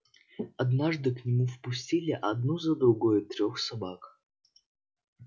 однажды к нему впустили одну за другой трёх собак